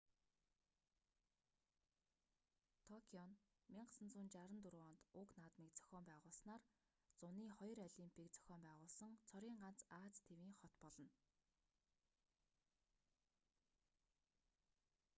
токио нь 1964 онд уг наадмыг зохион байгуулснаар зуны хоёр олимпийг зохион байгуулсан цорын ганц ази тивийн хот болно